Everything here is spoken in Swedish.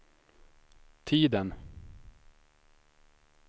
tiden